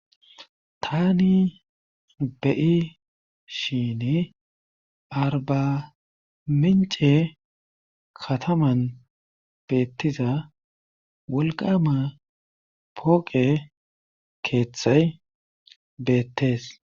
Tani beyi shin arbamince kataman beettiza wolqama pooqe keeththay beettees